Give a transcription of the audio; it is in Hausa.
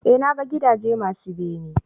eh na ga gidaje masu bene